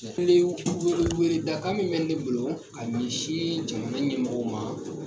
wele weleda kan min bɛ ne bolo ka ɲɛsi jamana ɲɛmɔgɔw ma.